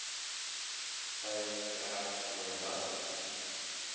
peil trek voordat